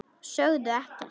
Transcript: Sögðu ekkert.